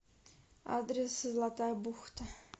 адрес золотая бухта